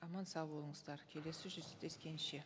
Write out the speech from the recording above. аман сау болыңыздар келесі жүздескенше